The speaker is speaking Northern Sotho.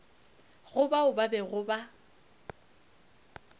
go bao ba bego ba